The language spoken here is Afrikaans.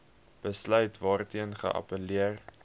besluit waarteen geappelleer